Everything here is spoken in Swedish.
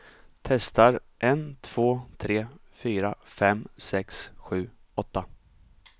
Testar en två tre fyra fem sex sju åtta.